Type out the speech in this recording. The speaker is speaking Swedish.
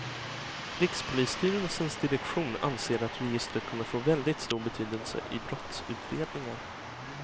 Rikspolisstyrelsens direktion anser att registret kommer få väldigt stor betydelse i brottsutredningar.